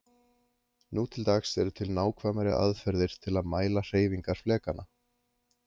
nú til dags eru til nákvæmari aðferðir til að mæla hreyfingar flekanna